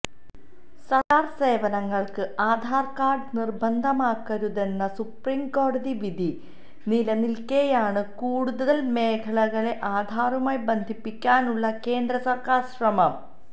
സര്ക്കാര് സേവനങ്ങള്ക്ക് ആധാര് കാര്ഡ് നിര്ബന്ധമാക്കരുതെന്ന സുപ്രീംകോടതി വിധി നിലനില്ക്കേയാണ് കൂടുതല് മേഖലകളെ ആധാറുമായി ബന്ധിപ്പിക്കാനുള്ള കേന്ദ്രസര്ക്കാര് ശ്രമം